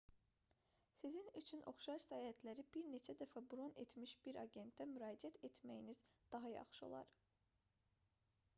sizin üçün oxşar səyahətləri bir neçə dəfə bron etmiş bir agentə müraciət etməyiniz daha yaxşı olar